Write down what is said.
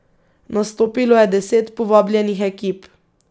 Nastopilo je deset povabljenih ekip.